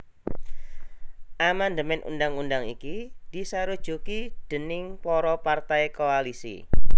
Amandemèn undhang undhang iki disarujuki déning para partai koalisi